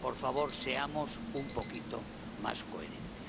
Por favor, seamos un poquito más coherentes.